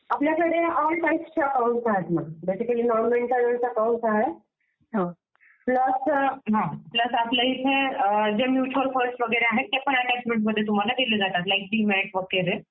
आपल्याकडे ऑल टाईप्सचे अकॉउंट आहेत. बेसिकली सर्व्हिस अकॉउंट आहे, प्लस आपल्याइथे जे म्युच्युअल फंड्स वगैरे आहेत ते पण आहेत त्या टाईपमध्ये तुम्हाला दिले जातात जसे डिमॅट वगैरे